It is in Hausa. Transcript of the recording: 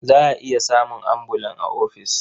Za a iya samun ambulan a ofis.